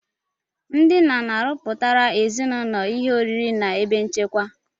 Ndị nna na-arọpụtara ezinụlọ ihe oriri na ebe nchekwa